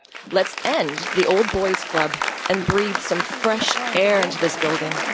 Let us end the old boys' club and breathe some fresh air into this building.